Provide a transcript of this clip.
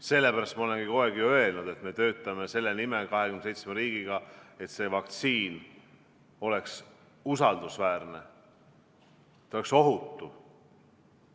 Sellepärast ma olengi kogu aeg öelnud, et me töötame selle nimel, 27 riiki, et vaktsiin oleks usaldusväärne, ohutu.